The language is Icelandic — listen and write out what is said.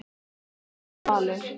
Þinn Jón Valur.